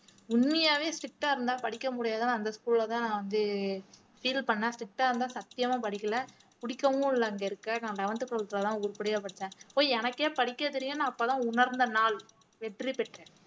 உண்மையாவே strict ஆ இருந்தா படிக்க முடியாதுன்னு அந்த school லதான் நான் வந்து feel பண்ணேன் strict ஆ இருந்தா சத்தியமா படிக்கல புடிக்கவும் இல்ல அங்க இருக்க நான் eleventh twelfth லதான் உருப்படியா படிச்சேன் போய் எனக்கே படிக்க தெரியும் நான் அப்பதான் உணர்ந்த நாள் வெற்றி பெற்றேன்